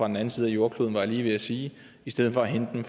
den anden side af jordkloden var jeg lige ved at sige i stedet for at hente